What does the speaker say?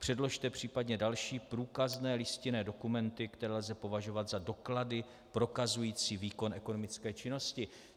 Předložte případně další průkazné listinné dokumenty, které lze považovat za doklady prokazující výkon ekonomické činnosti.